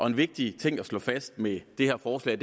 en vigtig ting at slå fast med det her forslag